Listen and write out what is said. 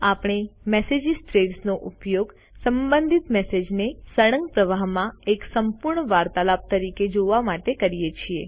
આપણે message threads નો ઉપયોગ સંબંધિત મેસેજીસને સળંગ પ્રવાહમાં એક સંપૂર્ણ વાર્તાલાપ તરીકે જોવા માટે કરીએ છીએ